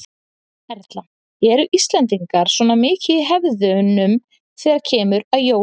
Erla: Eru Íslendingar svona mikið í hefðunum þegar kemur að jólum?